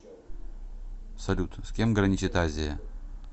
салют с кем граничит азия